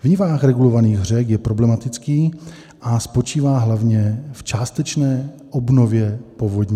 V nivách regulovaných řek je problematický a spočívá hlavně v částečné obnově povodní.